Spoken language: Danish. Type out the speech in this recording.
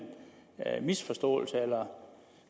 misforståelse eller